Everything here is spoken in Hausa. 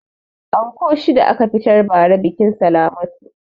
Anko shida a ka fitar ba ra biƙin salamatu